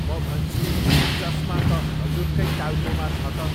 म भन्छु, चस्मा त हजुरकै टाउकोमा छ त।